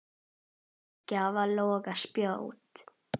dunaði gjá og loga spjó.